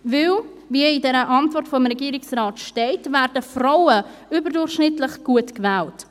Weil: Wie es in der Antwort des Regierungsrates steht, werden Frauen überdurchschnittlich gut gewählt.